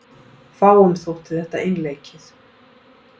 Fáum þótti þetta einleikið.